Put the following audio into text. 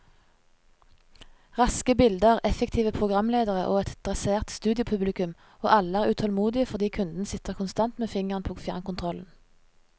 Raske bilder, effektive programledere og et dressert studiopublikum, og alle er utålmodige fordi kunden sitter konstant med fingeren på fjernkontrollen.